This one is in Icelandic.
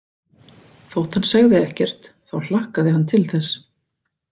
Þótt hann segði ekkert þá hlakkaði hann til þess.